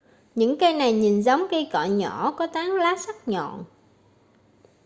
những cây này nhìn giống cây cọ nhỏ có tán lá sắc nhọn